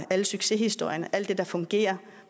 alle succeshistorierne alt det der fungerer